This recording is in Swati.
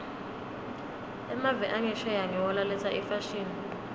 emave angesheya ngiwo laletsa imfashini